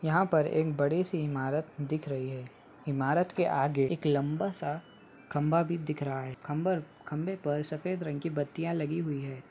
यहाँ पर एक बड़ी-सी ईमारत दिख रही है ईमारत के आगे एक लम्बा सा खम्भा भी दिख रहा है खम्बर खम्बे पर सफ़ेद रंग की बत्तियाँ लगी हुई है।